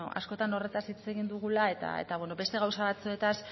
askotan horretaz hitz egin dugula eta beste gauza batzuetaz